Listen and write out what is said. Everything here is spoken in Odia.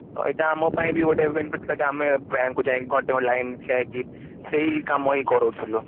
ତ ଏଇଟା ଆମ ପାଇଁ ବି ଗୋଟେ even ଆମେ bank କୁ ଯାଇକି ଘଣ୍ଟେ line ରେ ଠିଆ ହେଇକି ସେଇ କାମ ହିଁ କରୋଉ ଥିଲୁ